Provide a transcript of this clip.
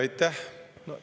Aitäh!